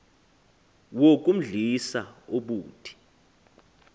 wo kumdlisa ubuthi